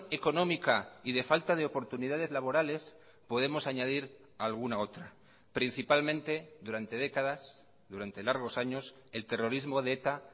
económica y de falta de oportunidades laborales podemos añadir alguna otra principalmente durante décadas durante largos años el terrorismo de eta